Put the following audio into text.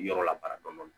Yɔrɔ la baara dɔɔnin